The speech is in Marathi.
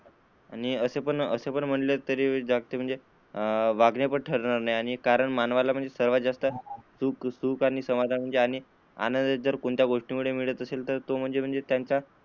आणि असे पण म्हणाले जाते की, ठरले तर कारण मानवाला सर्वात जास्त सुख आणि समाधान आनंद जर कोणत्या गोष्टी मधून मिळत असेल तर तर तो म्हणजे त्यांच्या,